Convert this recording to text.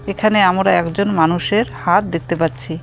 এখানে আমরা একজন মানুষের হাত দেখতে পাচ্ছি.